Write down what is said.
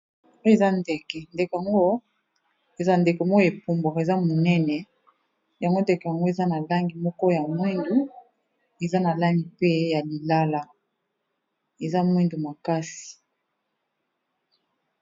Eza ndeke, ndeke yango eza ndeko moko e pumbuaka, eza monene , yango ndeke yango eza na langi moko ya moyindo, eza na langi pe ya lilala, eza moyndo makasi .